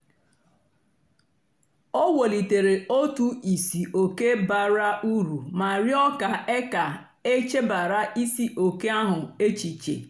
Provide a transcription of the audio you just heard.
o wèlìtèrè otù ìsìòké bàrà úrù mà rịọ́ kà e kà e chèbàra ìsìòké ahụ́ èchìchè.